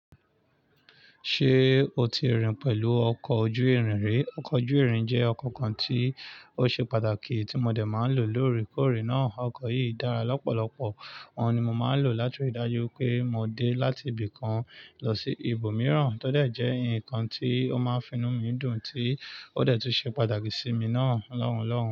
Ṣé o ti rìn pẹ̀lú ọkọ̀ ojú-irin rí? Ọkọ̀ ojú-irin jẹ́ ọkọ̀ kan tí ó ṣe pàtàkì tí mo dẹ̀ máa ń lò lóore koórè náà. Ọkọ̀ yìí dára lọ́pọ̀lọpọ̀, òun ni mo máa ń lò láti ri dájú wipé mo dé láti ibì kan lọ sí ibòmíràn. Ó dẹ̀ jẹ́ ǹkan tí ó máa ń finu mí dùn tí ó dẹ̀ tún ṣe pàtàkì sí mi náà lọ́hùn lọ́hùn.